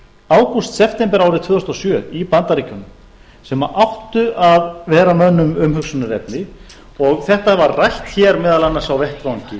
ágúst september árið tvö þúsund og sjö í bandaríkjunum sem áttu að vera mönnum umhugsunarefni og þetta var rætt hér meðal annars á vettvangi